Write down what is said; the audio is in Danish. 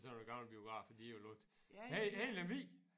Sådan nogle gamle biografer de har jo ligget her her i Lemvig